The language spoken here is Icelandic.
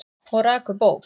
Og rak upp óp.